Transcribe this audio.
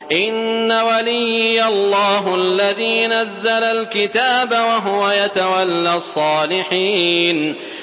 إِنَّ وَلِيِّيَ اللَّهُ الَّذِي نَزَّلَ الْكِتَابَ ۖ وَهُوَ يَتَوَلَّى الصَّالِحِينَ